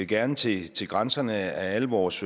gerne til til grænserne af alle vores